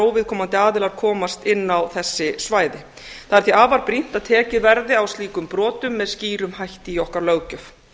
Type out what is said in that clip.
óviðkomandi aðilar komast inn á þessi svæði það er því afar brýnt að tekið verði á slíkum brotum með skýrum hætti í okkar löggjöf